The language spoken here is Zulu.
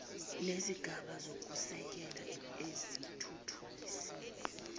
nezigaba zokusekela ezithuthukisiwe